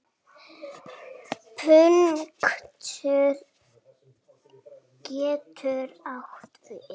Punktur getur átt við